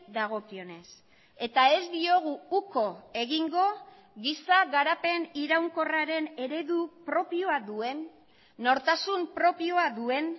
dagokionez eta ez diogu uko egingo giza garapen iraunkorraren eredu propioa duen nortasun propioa duen